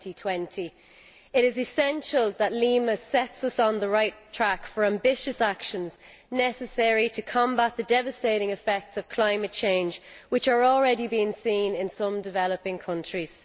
2020. It is essential that Lima sets us on the right track for ambitious actions necessary to combat the devastating effects of climate change, which are already being seen in some developing countries.